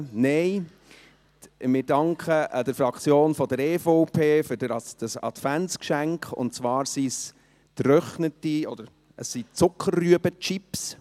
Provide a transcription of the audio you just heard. Nein, wir danken der EVP-Fraktion für dieses Adventsgeschenk, und zwar sind es Zuckerrüben-Chips.